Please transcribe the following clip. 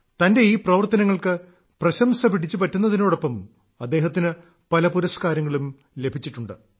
തന്റെ ഈ പ്രവർത്തനങ്ങൾക്ക് പ്രശംസ പിടിച്ചു പറ്റുന്നതിനോടൊപ്പം അദ്ദേഹത്തിന് പല പുരസ്കാരങ്ങളും ലഭിച്ചിട്ടുണ്ട്